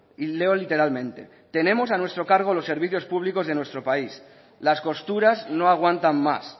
y leo literalmente tenemos a nuestro cargo los servicios públicos de nuestro país las costuras no aguantan más